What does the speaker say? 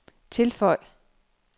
tilføj